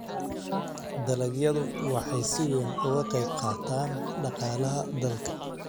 Dalagyadu waxay si weyn uga qayb qaataan dhaqaalaha dalka.